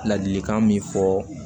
Ladilikan min fɔ